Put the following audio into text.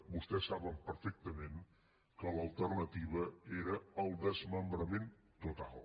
vostès ho saben perfectament l’alternativa era el desmembrament total